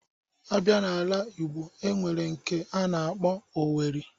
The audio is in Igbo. A bịa n'ala Ịgbo, e nwere nke a na-akpọ Owerri.